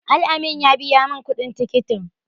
Al-amin ya biya min kuɗin tikitin.